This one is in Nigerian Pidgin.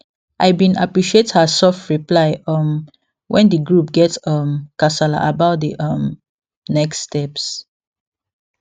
i bin appreciate her soft reply um when the group get um kasala about the um next steps